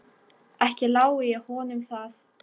Ekki lái ég honum það.